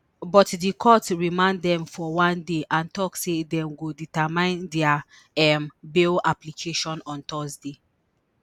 but di court remand dem for one day and tok say dem go determine dia um bail application on thursday